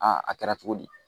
a kɛra cogo di